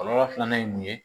Kɔlɔlɔ filanan ye mun ye